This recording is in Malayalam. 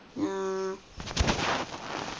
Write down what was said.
ആഹ്